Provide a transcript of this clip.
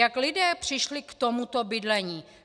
Jak lidé přišli k tomuto bydlení?